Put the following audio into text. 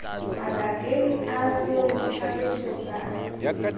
mabakeng a foo ditlhaloso tsa